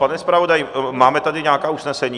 Pane zpravodaji, máme tady nějaká usnesení?